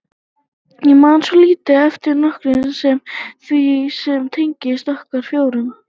Ég man svo lítið eftir nokkru nema því sem tengdist okkur fjórum.